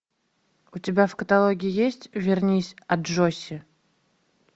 у тебя в каталоге есть вернись аджосси